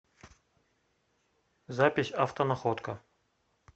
запись автонаходка